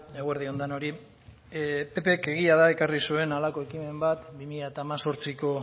eguerdi on denoi ppek egia da ekarri zuen halako ekimen bat bi mila hemezortziko